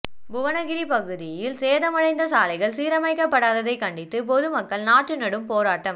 புவனகிரி பகுதியில் சேதமடைந்த சாலைகள் சீரமைக்கப்படாததை கண்டித்து பொதுமக்கள் நாற்று நடும் போராட்டம்